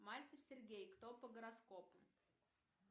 мальцев сергей кто по гороскопу